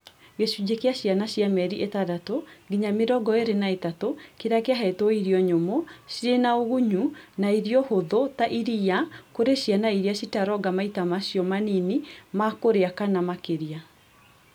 Gĩcunjĩ kĩa ciana cia mĩeri ĩtandatũ nginya mĩrongo ĩĩrĩ na ĩtatũ kĩrĩa kĩahetwo irio nyũmũ, cirĩ na ũgunyu na irio hũthũ ta iria kũrĩ ciana iria citaronga maita macio manini ma kũrĩa kana makĩria